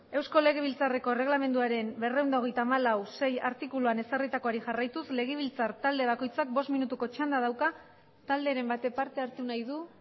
eusko legebiltzarreko erreglamenduaren berrehun eta hogeita hamalau puntu sei artikuluan ezarritakoari jarraituz legebiltzar talde bakoitzak bost minutuko txanda dauka talderen batek parte hartu nahi du